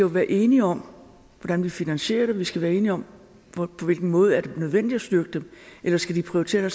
være enige om hvordan vi finansierer det og vi skal være enige om på hvilken måde er det nødvendigt at styrke dem eller skal vi prioritere